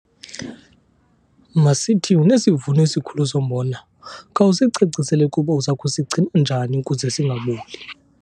Masithi unesivuno esikhulu sombona, khawusicacisele ukuba uza kusigcina njani ukuze singaboli.